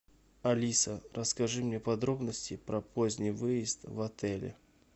алиса расскажи мне подробности про поздний выезд в отеле